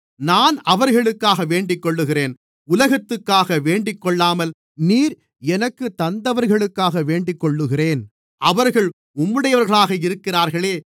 நான் அவர்களுக்காக வேண்டிக்கொள்ளுகிறேன் உலகத்துக்காக வேண்டிக்கொள்ளாமல் நீர் எனக்குத் தந்தவர்களுக்காக வேண்டிக்கொள்ளுகிறேன் அவர்கள் உம்முடையவர்களாக இருக்கிறார்களே